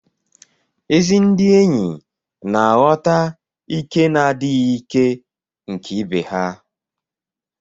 Ezi ndị enyi na-aghọta ìké na adịghị ìké nke ibe ha.